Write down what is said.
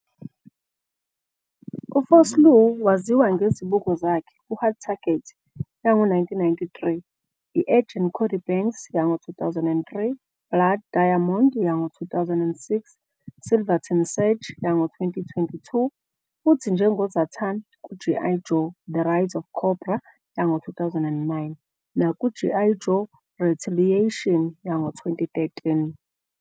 U-Vosloo waziwa ngezibuko zakhe ku-Hard Target, yango-1993, "I-Agent Cody Banks", yango-2003, Blood Diamond, yango-2006, Silverton Siege, yango-2022, futhi njengo Zartan ku-G. I. Joe- The Rise of Cobra, yango-2009 naku-G. I. Joe- Retaliation, yango-2013.